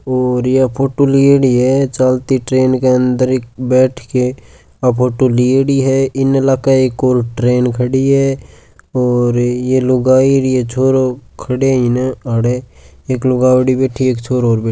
और ये फोटो लियेडी है चलती ट्रेन के अन्दर एक बेठ के फोटो लियेडी है इन लका एक और ट्रेन खडी है और ये लोग लुगाई ए छोरो खडे इने अड़े एक लुगावडी बेठी है इक छोरो और बे --